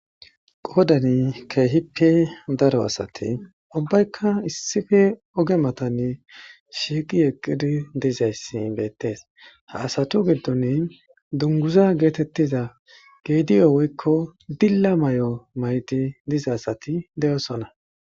qoodani keehippe daro asati ubbaykka issife oge matanne shiiqi yeqqidi dizayssi beettees ha asatu giddon dunguza geetettiza geediyo woykko dilla may7o maydi diza asati de7osona